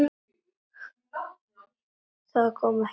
Það kom ekki fram.